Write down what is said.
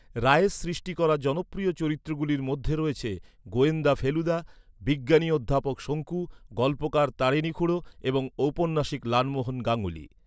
রায়ের সৃষ্টি করা জনপ্রিয় চরিত্রগুলির মধ্যে রয়েছে গোয়েন্দা ফেলুদা, বিজ্ঞানী অধ্যাপক শঙ্কু, গল্পকার তারিণী খুড়ো এবং ঔপন্যাসিক লালমোহন গাঙ্গুলী।